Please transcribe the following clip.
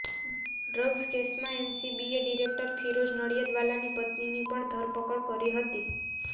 drugs કેસમાં એનસીબીએ director Firoz નડિયાદવાલાની પત્નીની પણ ધરપકડ કરી હતી